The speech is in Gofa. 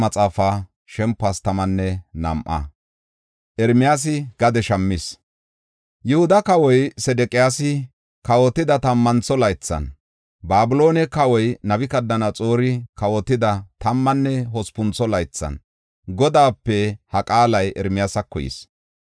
Yihuda kawoy Sedeqiyaasi kawotida tammantho laythan, Babiloone kawoy Nabukadanaxoori kawotida tammanne hospuntho laythan Godaape ha qaalay Ermiyaasako yis.